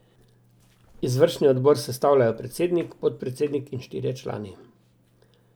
Izvršilni odbor sestavljajo predsednik, podpredsednik in štirje člani.